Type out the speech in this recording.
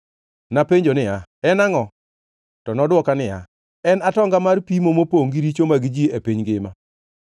Napenjo niya, “En angʼo?” To nodwoka niya, “En atonga mar pimo mopongʼ gi richo mag ji e piny ngima.”